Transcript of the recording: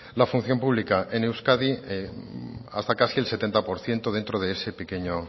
la función pública en euskadi hasta casi el setenta por ciento dentro de ese pequeño